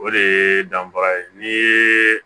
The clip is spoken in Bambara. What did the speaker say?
O de ye danfara ye ni ye